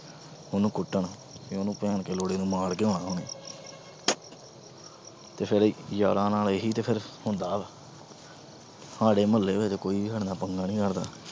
ਉਹਨੂੰ ਕੁੱਟਣ। ਉਹਨੂੰ ਭੈਣ ਦੇ ਲੋਂਡੇ ਨੂੰ ਮਾਰ ਕੇ ਆਣਾ ਹੁਣੀ। ਤੇ ਯਾਰਾਂ ਨਾਲ ਇਹੀ ਤਾਂ ਫਿਰ ਹੁੰਦਾ। ਸਾਰੇ ਮੁਹੱਲੇ ਚ ਕੋਈ ਵੀ ਸਾਡੇ ਨਾਲ ਪੰਗਾ ਨੀ ਕਰਦਾ।